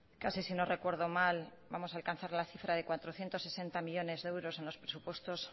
casi si no recuerdo mal vamos a alcanzar la cifra de cuatrocientos sesenta millónes de euros en los presupuestos